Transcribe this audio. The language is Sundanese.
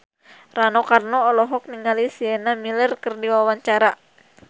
Rano Karno olohok ningali Sienna Miller keur diwawancara